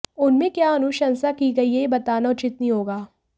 उसमें क्या अनुशंसा की गई है यह बताना उचित नहीं होगा